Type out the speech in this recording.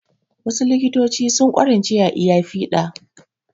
Wasu likitoci sun ƙwarance a iya fiɗa